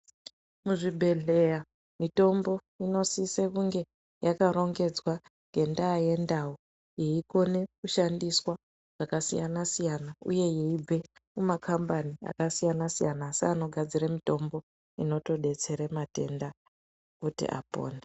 Muzvibhedhleya mitombo inosise kunge yakarongedzwa ngendaya yendau yeikone kushandiswa pakasiyana siyana uye yeibve mumakhambani akasiyana siyana asi anogadzire mitombo inotodetsere matenda kuti apone.